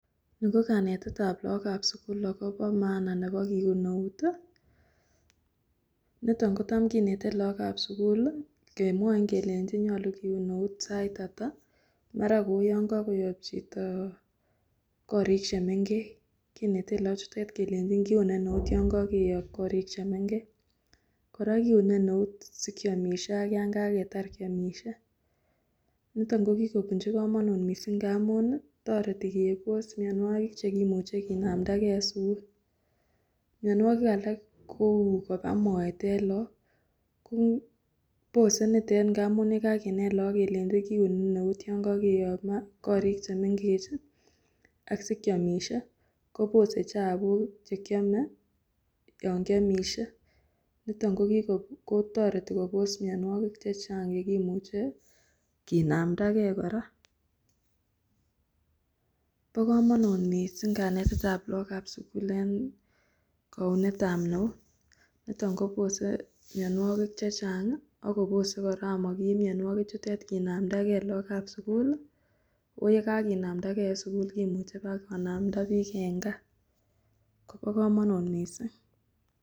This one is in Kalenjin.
Nii ko kanetetab lokokab sukul akobo maana nebo kiun eut, niton kotam kinete lokokab sukul kemwoin kelenchin nyolu kiun eut saitata, mara Kou yoon kokoyob chito korik chemeng'ech, kinete loochuton kelei kiune neut yoon kokeyob korik chemeng'ech, kora kiune eut sikiomishe ak yaan kaketar kiomishe, niton ko kikobunchi komonut mising ng'amun toreti kebos mionwokik chekimuche kinamndake en sukul, mionwokik alak kouu kobaa moet en look, kobose nitet amun yekakinet look kelenchi kiune eut Yoon kokeyob korik chemeng'ech ak sikiomishe kobose chabuk chekiome yoon kiomishe niton kokiko kotoreti kobos mionwokik chechang chekimuche kinamndake kora, bokomonut mising kanetetab lokokab sukul en kounetab eut, niton kobose mionwokik chechang ak kobose kora amokiib mionwokichutet kinamndake lookab sukul, oo yekakinamndake en sukul kimuche bakinamda biik en kaa, kobokomonut mising.